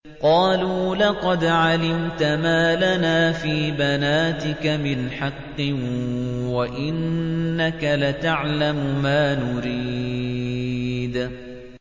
قَالُوا لَقَدْ عَلِمْتَ مَا لَنَا فِي بَنَاتِكَ مِنْ حَقٍّ وَإِنَّكَ لَتَعْلَمُ مَا نُرِيدُ